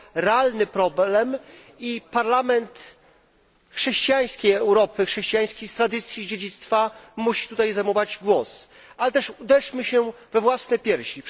To realny problem i Parlament chrześcijańskiej Europy, chrześcijańskich tradycji i dziedzictwa musi tutaj zabierać głos. Ale też uderzmy się we własne piersi.